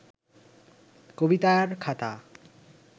কবিতার খাতা